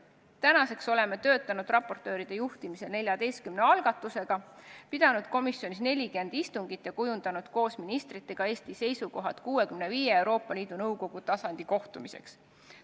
Tänaseks oleme raportööride juhtimisel töötanud 14 algatusega, pidanud komisjonis 40 istungit ja kujundanud koos ministritega Eesti seisukohad 65 Euroopa Liidu Nõukogu tasandi kohtumiseks.